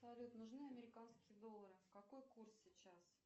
салют нужны американские доллары какой курс сейчас